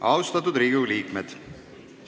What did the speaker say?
Austatud Riigikogu liikmed!